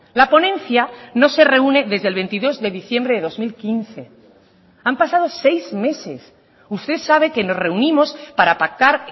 la ponencia no se reúne desde el veintidós de diciembre de dos mil quince han pasado seis meses usted sabe que nos reunimos para pactar